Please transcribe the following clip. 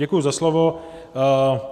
Děkuji za slovo.